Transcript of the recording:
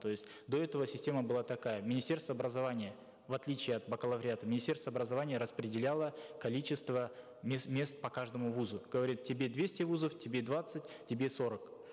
то есть до этого система была такая министерство образования в отличие от бакалавриата министерство образования распределяло количество мест по каждому вузу говорит тебе двести вузов тебе двадцать тебе сорок